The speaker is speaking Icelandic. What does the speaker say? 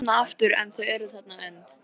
Og opna aftur en þau eru þarna enn.